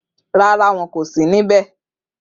Rara wọn ko si nibẹ.